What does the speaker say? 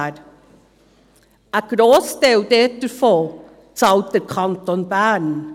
Ein Grossteil davon bezahlt der Kanton Bern.